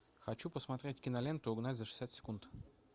хочу посмотреть киноленту угнать за шестьдесят секунд